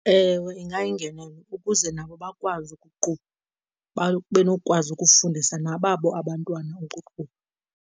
Ewe, ingayingenelelo ukuze nabo bakwazi ukuqubha. Babe nokwazi ukufundisa nababo abantwana ukuqubha.